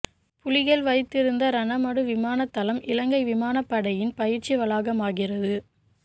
புலிகள் வைத்திருந்த இரணமடு விமான தளம் இலங்கை விமானப்படையின் பயிற்சி வளாகமாகிறது